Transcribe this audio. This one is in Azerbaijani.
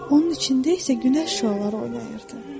Onun içində isə günəş şüaları oynayırdı.